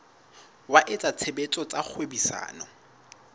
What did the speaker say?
wa etsa tshebetso tsa kgwebisano